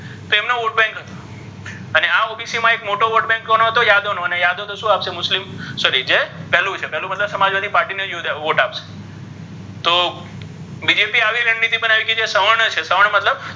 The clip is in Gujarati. તેમનો vote Bank અને આ OBC મા મોટો vote Bank કોનો હતો યાદવ નો અને યાદવ તો શુ આપશે મુસ્લિમ Sorry જૅ પેલુ હોય છે પેલુ મતલબ સમાજ્વાદી પાટી ને વોટ આપશે તો BJP ઍ આવી રન નિતી બનાવી જે સવર્ણ છે સવર્ણ્ મતલબ,